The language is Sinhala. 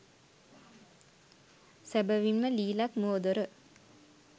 සැබවින්ම ලිලැක් මුවදොර